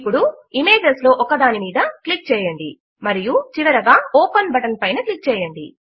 ఇప్పుడు ఇమేజెస్ లో ఒకదాని పైన క్లిక్ చేయండి మరియు చివరగా ఓపెన్ బటన్ పైన క్లిక్ చేయండి